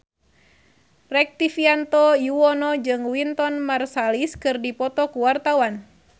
Rektivianto Yoewono jeung Wynton Marsalis keur dipoto ku wartawan